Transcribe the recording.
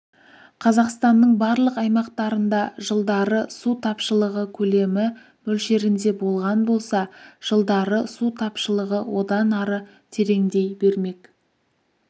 қазақстанның барлық аймақтарында жылдары су тапшылығы көлемі мөлшерінде болған болса жылдары су тапшылығы одан ары тереңдей бермек